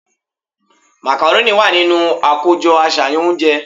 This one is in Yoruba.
Macaroni wà nínú akojọ aṣayan ounje